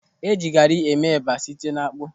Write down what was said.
Eji gari eme eba site n'akpụ.